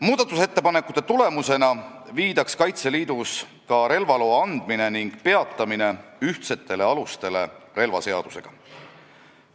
Muudatusettepanekute tulemusena viidaks Kaitseliidus ka relvaloa andmine ja peatamine ühtsetele alustele relvaseadusega.